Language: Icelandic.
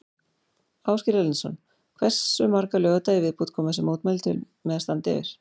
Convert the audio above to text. Ásgeir Erlendsson: Hversu marga laugardaga í viðbót koma þessi mótmæli til með að standa yfir?